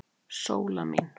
Sóla mín.